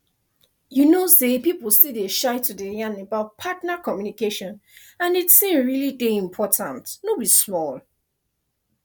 you know say people still dey shy to dey yan about partner communication and the thing really dey important no be small